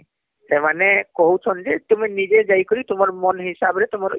ସେମାନେ କହୁଛନ ଯେ ତୁମେ ନିଜେ ଜାଇକାରୀ ତୁମ ମନ ହିସାବରେ ତୁମର